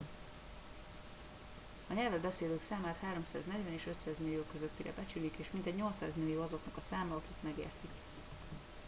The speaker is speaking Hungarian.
a nyelvet beszélők számát 340 és 500 millió közöttire becsülik és mintegy 800 millió azoknak a száma akik megértik